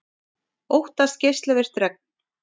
Óttast geislavirkt regn